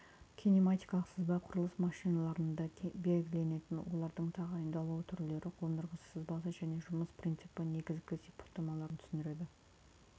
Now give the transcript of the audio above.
кинематикалық сызба құрылыс машианаларында белгіленген олардың тағайындалуы түрлері қондырғысы сызбасы және жұмыс принципі негізгі сипаттамаларын түсіндіреді